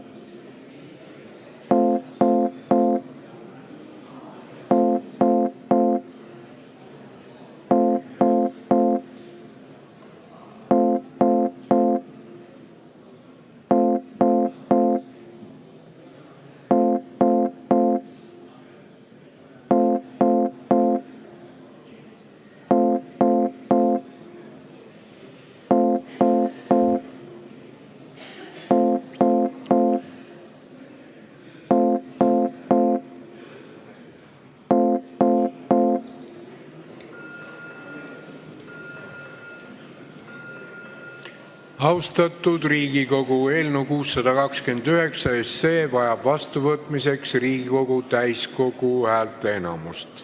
Austatud Riigikogu, eelnõu 629 vajab vastuvõtmiseks Riigikogu täiskogu häälteenamust.